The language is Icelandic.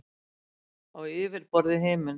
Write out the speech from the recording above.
Á yfirborði himins.